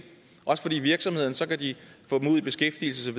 også fordi virksomheder så kan få dem ud i beskæftigelse